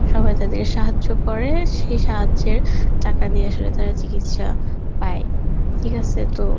সবাই তাদেরকে সাহায্য করে সেই সাহায্যের টাকা দিয়ে আসলে তারা চিকিৎসা পায়, ঠিক আসে তো